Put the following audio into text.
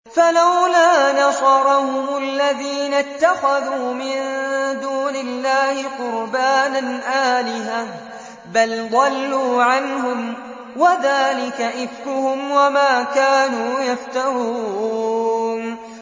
فَلَوْلَا نَصَرَهُمُ الَّذِينَ اتَّخَذُوا مِن دُونِ اللَّهِ قُرْبَانًا آلِهَةً ۖ بَلْ ضَلُّوا عَنْهُمْ ۚ وَذَٰلِكَ إِفْكُهُمْ وَمَا كَانُوا يَفْتَرُونَ